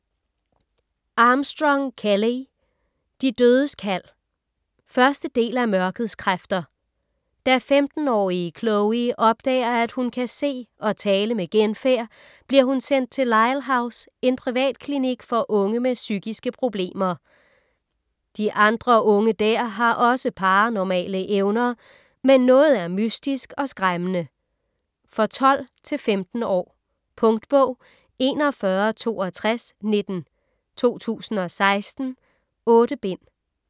Armstrong, Kelley: De dødes kald 1. del af Mørkets kræfter. Da 15-årige Chloe opdager, at hun kan se og tale med genfærd, bliver hun sendt til Lyle House, en privatklinik for unge med psykiske problemer. De andre unge der har også paranormale evner, men noget er mystisk og skræmmende. For 12-15 år. Punktbog 416219 2016. 8 bind.